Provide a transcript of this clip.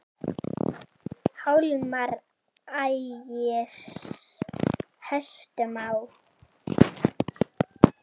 Hjálmar ægis hestum á.